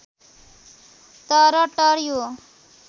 तर टर्‍यो